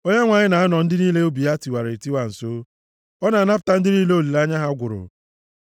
Onyenwe anyị na-anọ ndị niile obi ha tiwara etiwa nso, ọ na-anapụta ndị niile olileanya ha gwụrụ.